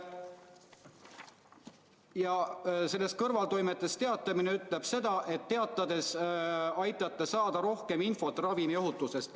Ja kõrvaltoimetest teatamise punkt ütleb seda, et nii aitate saada rohkem infot ravimiohutuse kohta.